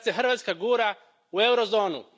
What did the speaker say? Sad se Hrvatska gura u eurozonu.